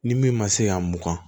Ni min ma se ka mugan